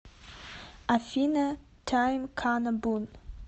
афина тайм кана бун